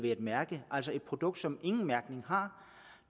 et mærke altså et produkt som ingen mærkning har